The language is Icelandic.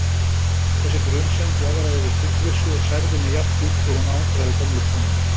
Þessi grunsemd jaðraði við fullvissu og særði mig jafndjúpt og hún angraði gömlu konuna.